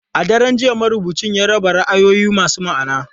A daren jiya, marubucin ya raba ra'ayoyi masu ma'ana.